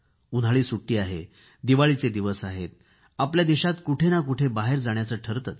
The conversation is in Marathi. उन्हाळी सुट्टी आहे दिवाळीचे दिवस आहेत आपल्या देशात कुठे ना कुठे बाहेर जाण्याचे ठरतेच